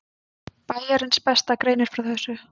Bæjarins besta greinir frá þessu.